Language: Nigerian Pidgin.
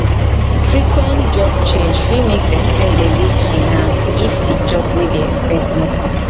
frequent job change fit make person dey loose finance if di job wey dey expect no come